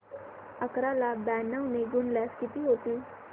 अकरा ला ब्याण्णव ने गुणल्यास किती होतील